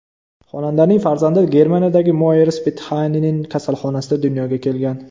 Xonandaning farzandi Germaniyadagi Moers Bethanien kasalxonasida dunyoga kelgan.